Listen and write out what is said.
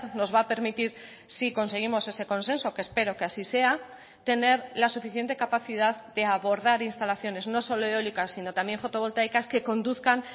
nos va a permitir si conseguimos ese consenso que espero que así sea tener la suficiente capacidad de abordar instalaciones no solo eólicas sino también fotovoltaicas que conduzcan